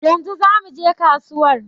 Yanzu za muje kasuwar